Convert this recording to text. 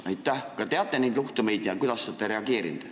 Kas te teate niisuguseid juhtumeid ja kui teate, siis kuidas olete reageerinud?